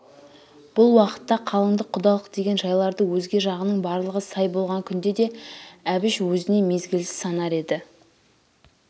бұл уақытта қалындық құдалық деген жайларды өзге жағының барлығы сай болған күнде де әбіш өзіне мезгілсіз санар еді